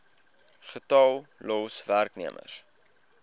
getal los werknemers